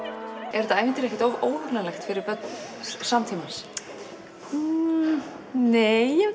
er þetta ævintýri ekkert of óhugnanlegt fyrir börn samtímans nei ég